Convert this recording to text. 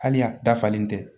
Hali a dafalen tɛ